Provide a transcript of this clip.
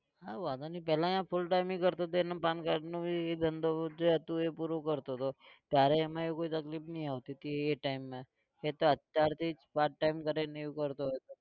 હા વાંધો નહિ પહેલા અહીંયા full time ની કરતો હતો એને pan card નું भी ધંધો જે હતું એ પૂરું કરતો હતો. ત્યારે એમાં એવું કોઈ તકલીફ નહીં આવતી હતી એ time માં એ તો અત્યારથી part-time કરે અને એવું કરતો હતો.